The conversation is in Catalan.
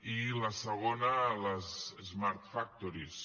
i la segona les smart factories